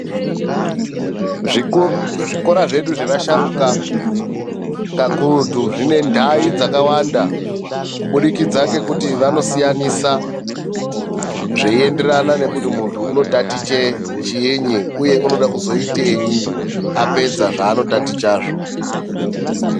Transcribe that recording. Zvikora zvedu zvemasharukwa kakurutu zvine ndai dzakawanda kubudikidza ngokuti vanosiyanisa zveienderana nekuti mundu anotaticha chinyi uye anoda kuzoitei apedza zvanotaticha izvo .